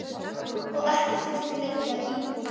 Og ekki þurfti lengi að bíða.